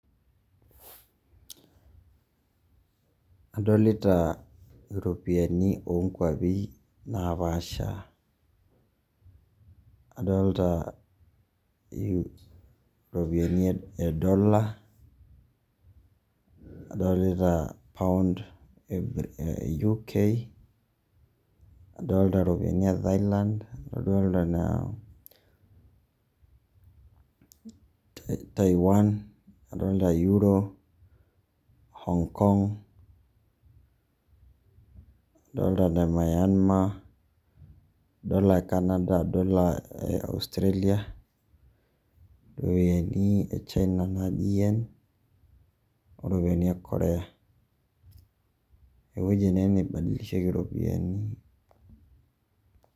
Adolita iropiyiani onkwapi napaasha. Adolta iropiyiani edola, nadolita Pound e UK, nadolta iropiyiani e Thailand, nadolta naa Taiwan, nadolta Euro, Hong-Kong, nadolta Nemayema, adolta Canada, adolta Australia, iropiyiani e China naji Yen, oropiyiani e Korea. Ewueji ene naibadilisheki iropiyiani.